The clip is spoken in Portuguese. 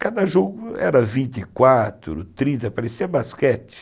Cada jogo era vinte e quatro, trinta, parecia basquete.